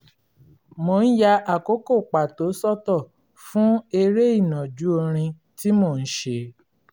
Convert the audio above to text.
mò ń ya àkókò pàtó sọ́tọ̀ fún eré ìnàjú orin tí mò ń ṣe